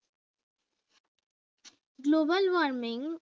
global warming